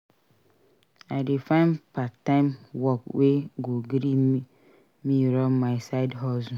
I dey find part-time work wey go gree me run my side hustle.